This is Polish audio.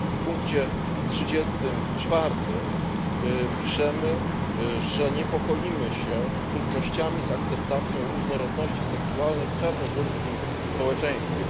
W punkcie 34 piszemy, że niepokoimy się trudnościami z akceptacją różnorodności seksualnej w czarnogórskim społeczeństwie.